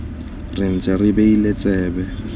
re ntse re beile tsebe